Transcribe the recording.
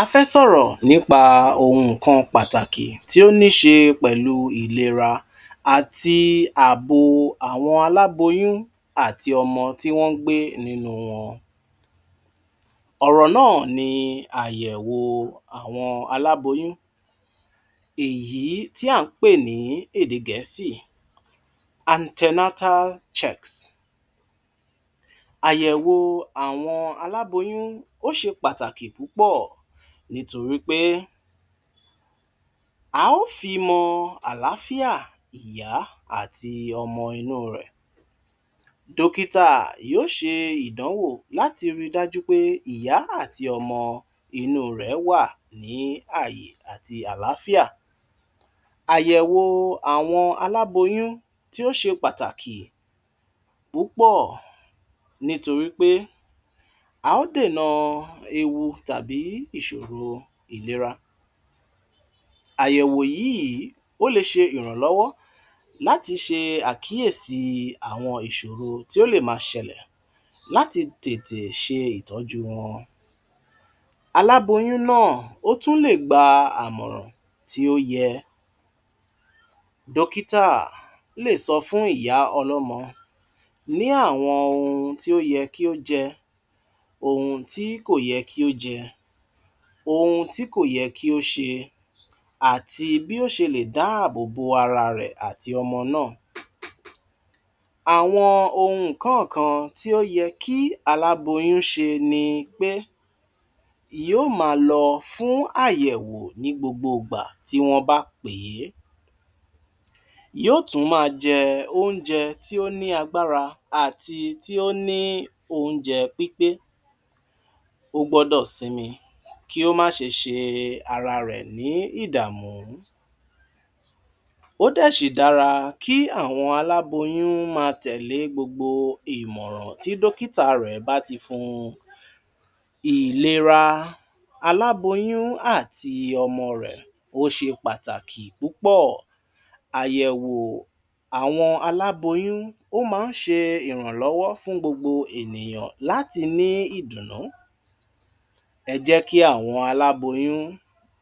A fẹ́ sọ̀rọ̀ nípa ohùn kan pàtàkì tó níṣe pẹ̀lú ìlera àti àbò àwọn aláboyún àti ọmọ tí wọ́n ń gbé nínú wọn. Ọ̀rọ̀ náà ni àyèwò àwọn aláboyún, èyí tí à ń pè ní ède gẹ̀ẹ́sì- antenatal checks. Àyèwò àwọn aláboyún ó ṣe pàtàki púpọ̀ nítorí pé a ó fi mọ àlááfíà ìyá àti ọmọ inú rẹ̀. Dókítà yóó ṣe ìdánwò láti rí i dájú pé ìyá àti ọmọ inú rẹ̀ é wà ní àyè àti àlááfíà. Àyèwò àwọn aláboyún tí ó ṣe pàtàkì púpọ̀ nítorí pé a ó dèna ewu tàbí ìṣòro ìlera. Àyèwò yíìí ó le ṣe ìrànlọ́wọ́ láti ṣe àkíyèsí àwọn ìṣòro tí ó lè máa ṣẹlẹ̀ láti tètè ṣe ìtọ́júu wọn. Aláboyún náà ó tún lè gba àmọ̀ràn tí ó yẹ. Dókítà lè sọ fún ìyá ọlọ́mọ ní àwọn ohun tí ó yẹ kó jẹ, tí kò yẹ kí ó jẹ, ohun tí kò yẹ kí ó ṣe àti bí ó ṣe lè dáàbò bo ara rẹ̀ àti ọmọ náà. Àwọn ohùn kọ́ọ̀kan tí ó yẹ kí aláboyún ṣe ni pé yóó máa lọ fún àyèwò ní gbogbo ìgbà tí wọ́n bá pè é. Yóó tún máa jẹ óúnjẹ tí ó ní agbára àti tí ó ní óúnjẹ pípé. Ó gbọ́dọ̀ sinmi, kí ó má ṣe ṣe ara rẹ̀ ní ìdààmú. Ó dẹ̀ ṣì dára kí àwọn aláboyún máa tẹ̀lé gbogbo ìmọ̀ràn tí dókítà rẹ̀ bá ti fún n. Ìlera aláboyún àti ọmọ rẹ̀ ó ṣe pàtàkì púpọ̀. Àyèwò àwọn aláboyún ó má ń ṣe ìrànlọ́wọ́ fún gbogbo ènìyàn láti ní ìdùnnú. Ẹ jẹ́ kí àwọn aláboyún